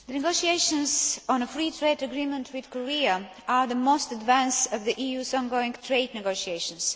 The negotiations on a free trade agreement with Korea are the most advanced of the EU's ongoing trade negotiations.